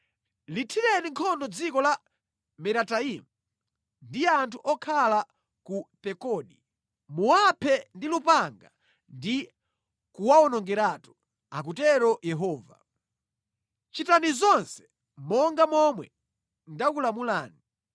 “Lithireni nkhondo dziko la Merataimu ndi anthu okhala ku Pekodi. Muwaphe ndi lupanga ndi kuwawonongeratu,” akutero Yehova. “Chitani zonse monga momwe ndakulamulani.